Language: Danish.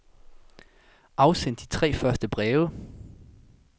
Afsend de tre første breve.